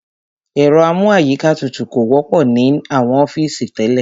Ẹ̀rọ amú àyíká tutù kò wọ́pọ̀ ní àwọn ọ́fìsì tẹ́lẹ̀.